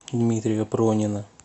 дмитрия пронина